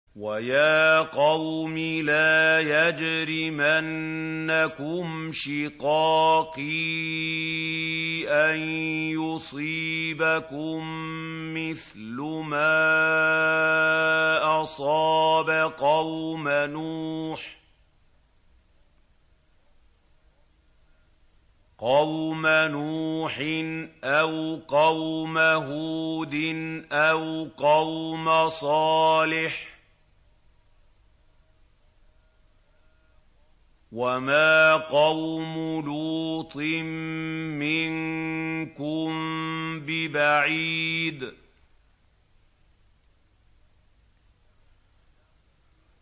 وَيَا قَوْمِ لَا يَجْرِمَنَّكُمْ شِقَاقِي أَن يُصِيبَكُم مِّثْلُ مَا أَصَابَ قَوْمَ نُوحٍ أَوْ قَوْمَ هُودٍ أَوْ قَوْمَ صَالِحٍ ۚ وَمَا قَوْمُ لُوطٍ مِّنكُم بِبَعِيدٍ